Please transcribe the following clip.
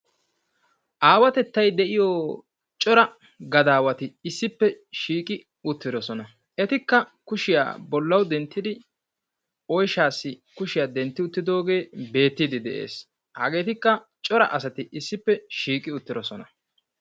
Aawatettay de'iyo cora gadaawati issippe shiiqi uttirosona. Etikka kushiya bollawu denttidi oyshaassi kushiya dentti uttidoogee beettiiddi de'ees. Hageetikka cora asati issippe shiiqi uttirosona.